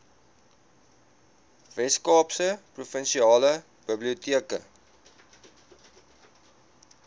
weskaapse provinsiale biblioteke